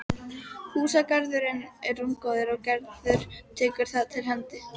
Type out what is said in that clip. Húsagarðurinn er rúmgóður og Gerður tekur þar til hendi.